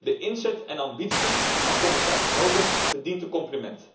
De inzet en ambitie van commissaris Hogan verdienen een compliment,